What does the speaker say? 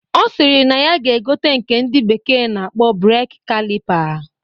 Ọ sịrị na ya ga-egote nke ndị bekee na-akpọ Breeki kalipa